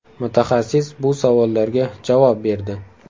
Mutaxassis bu savollarga javob berdi.